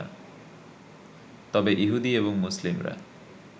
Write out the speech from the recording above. তবে ইহুদি এবং মুসলিমরা